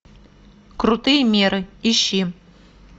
крутые меры ищи